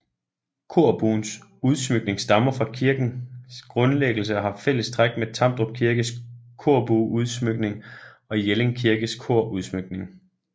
Korbuens udsmykning stammer fra kirkens grundlæggelse og har fælles træk med Tamdrup Kirkes korbueudsmykning og Jelling Kirkes korudsmykning